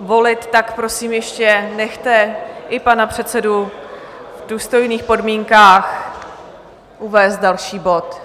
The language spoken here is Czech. volit, tak prosím, ještě nechte i pana předsedu v důstojných podmínkách uvést další bod.